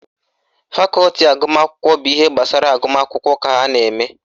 Fakọti agụmakwụkwọ bụ ihe gbasara agụmakwụkwọ ka ha na-eme